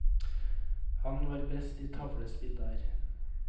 Han var best i tavlespill der.